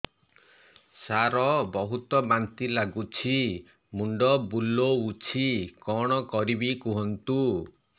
ସାର ବହୁତ ବାନ୍ତି ଲାଗୁଛି ମୁଣ୍ଡ ବୁଲୋଉଛି କଣ କରିବି କୁହନ୍ତୁ